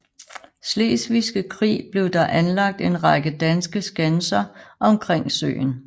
Slesvigske krig blev der anlagt en række danske skanser omkring søen